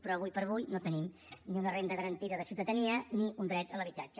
però ara com ara no tenim ni una renda garantida de ciutadania ni un dret a l’habitatge